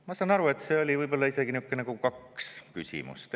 Ma sain aru, et siin oli võib-olla isegi kaks küsimust.